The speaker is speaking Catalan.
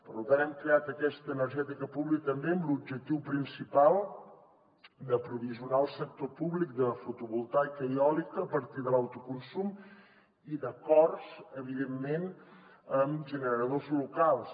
per tant hem creat aquesta energètica pública també amb l’objectiu principal de provisionar el sector públic de fotovoltaica i eòlica a partir de l’autoconsum i d’acords evidentment amb generadors locals